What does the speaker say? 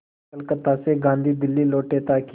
कलकत्ता से गांधी दिल्ली लौटे ताकि